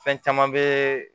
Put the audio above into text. Fɛn caman bɛ